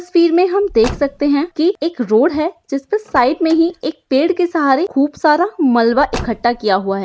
तस्वीर हम देख सखते है की एक रोड है जिस पे साइट मे ही एक पेड़ के सहारे खूप सारा मलबा एकट्टा किया हुआ है।